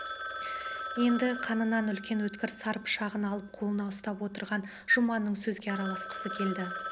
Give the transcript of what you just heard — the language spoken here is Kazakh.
енді қынынан үлкен өткір сар пышағын алып қолына ұстап отырған жұманның сөзге араласқысы келді